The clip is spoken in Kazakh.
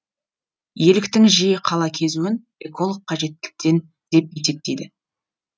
еліктің жиі қала кезуін эколог қажеттіліктен деп есептейді